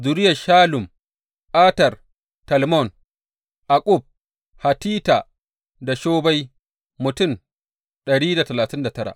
Zuriyar Shallum, Ater, Talmon, Akkub, Hatita, da Shobai mutum dari da talatin da tara.